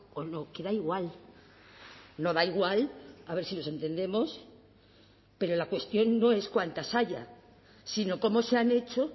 o no que da igual no da igual a ver si nos entendemos pero la cuestión no es cuántas haya sino cómo se han hecho